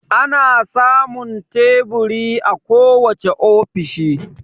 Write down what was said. Ana samun teburi a kowace ofishi